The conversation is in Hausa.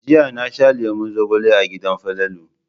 Jiya na sha lemon zogale a gidan Falalu.